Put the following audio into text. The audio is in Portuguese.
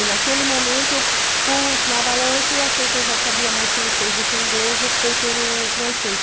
E naquele momento eu pus na balança e achei que eu já sabia mais francês do que inglês, optei pelo francês.